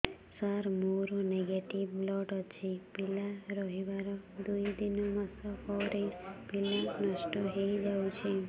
ସାର ମୋର negative blood ଅଛି ପିଲା ରହିବାର ଦୁଇ ତିନି ମାସ ପରେ ପିଲା ନଷ୍ଟ ହେଇ ଯାଉଛି